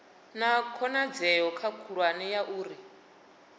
na khonadzeo khulwane ya uri